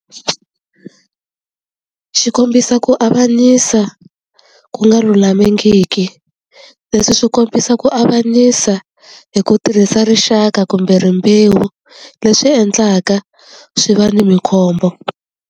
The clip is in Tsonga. Xi kombisa ku avanyisa ku nga lulamangiki leswi swi kombisa ku avanyisa hi ku tirhisa rixaka kumbe rimbewu leswi endlaka swi va ni mi khombo.